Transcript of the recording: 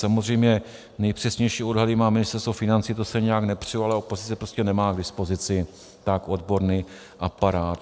Samozřejmě nejpřesnější odhady má Ministerstvo financí, to se nijak nepřu, ale opozice prostě nemá k dispozici tak odborný aparát.